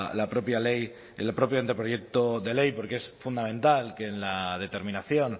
la propia ley el propio anteproyecto de ley porque es fundamental que en la determinación